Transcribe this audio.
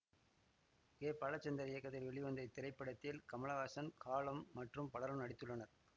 K Balachander இயக்கத்தில் வெளிவந்த இத்திரைப்படத்தில் கமலஹாசன் ஹாலம் மற்றும் பலரும் நடித்துள்ளனர்